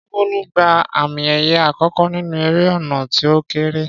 Ṣé Bólú gba àmì ẹ̀yẹ àkọ́kọ́ nínú eré ọ̀nà tí ó kééré?